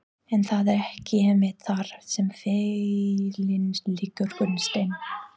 En er það ekki einmitt þar sem feillinn liggur Gunnsteinn?